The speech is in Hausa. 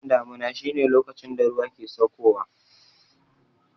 Lokacin damuna shi ne lokacin da ruwa ke sauko wa